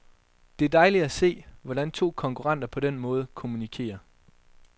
Det er dejligt at se, hvordan to konkurrenter på den måde kommunikerer.